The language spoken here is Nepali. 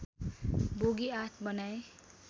बोगी ८ बनाए